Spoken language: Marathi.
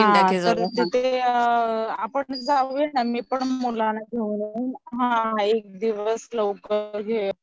तर तिथे आपण जाऊ या ना, मी पण मुलांना घेऊन लवकर